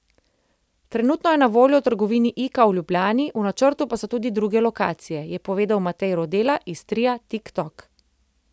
Trenutno je na voljo v trgovini Ika v Ljubljani, v načrtu pa so tudi druge lokacije, je povedal Matej Rodela iz tria Tok Tok.